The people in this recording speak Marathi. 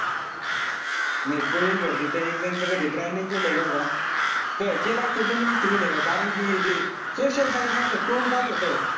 नाई प्रवेश भरतीच्या exam चा कधी try नाई केलाय बरं का. क केला असता समजा कारण कि social science असं तोंडपाठ होत.